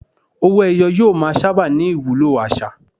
Owó-ẹyọ yóò máa sábà ní ìwúlò àṣà.